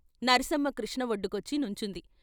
సర్సమ్మ కృష్ణ వొడ్డుకొచ్చి నుంచుంది.